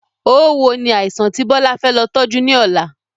Oówo ni àìsàn ti Bọlá fẹ́ lọ tọju ni ọ̀la